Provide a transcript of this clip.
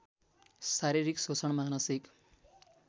शारीरिक शोषण मानसिक